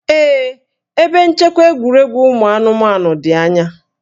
Ee, ebe nchekwa egwuregwu ụmụ anụmanụ dị anya